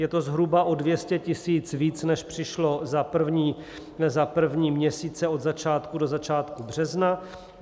Je to zhruba o 200 000 více, než přišlo za první měsíce od začátku do začátku března.